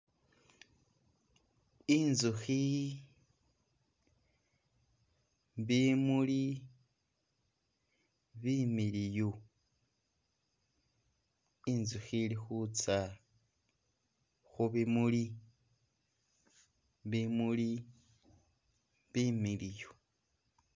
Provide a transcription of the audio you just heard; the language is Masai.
I'nzukhi, bimuli bimiliyu, i'nzukhi ili khutsa khu bimuli bimuli bimiliyu.